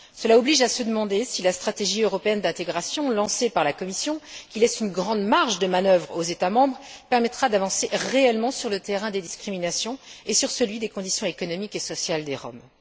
Cela oblige à se demander si la stratégie européenne d'intégration, lancée par la Commission, qui laisse une grande marge de manœuvre aux États membres, permettra d'avancer réellement sur le terrain des discriminations et sur celui des conditions économiques et sociales des Roms.